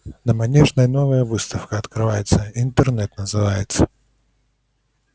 на манежной новая выставка открывается интернет называется